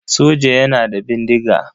Soja yana da bindiga.